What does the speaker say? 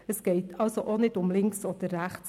Es geht also auch nicht um links oder rechts.